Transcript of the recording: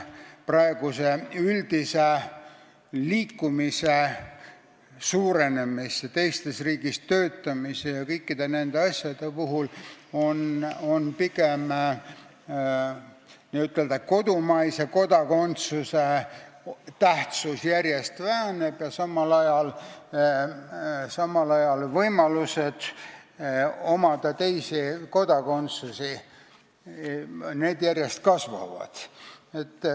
Praeguse üldise liikumise suurenemise, teises riigis töötamise ja kõikide nende asjade taustal on areng pigem selline, et n-ö kodumaise kodakondsuse tähtsus järjest väheneb ja samal ajal võimalused omada teisi kodakondsusi järjest kasvavad.